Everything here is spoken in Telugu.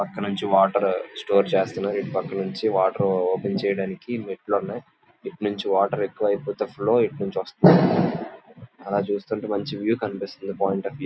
ప్రక్కనుంచి వాటర్ స్టోర్ చేస్తూతున్నారు. ఇట్టు పక్క నుండి వాటర్ ఓపెన్ చేడానికి మెట్లు ఉన్నాయ్. ఇటునుంచి వాటర్ ఎక్కువ ఐపొతూలో ఇటు వస్తున్నాయి. అలా చూస్తుతుంటే మంచి వ్యూ కనిపిస్తుంది. పాయింట్ అఫ్ వ్యూ లో--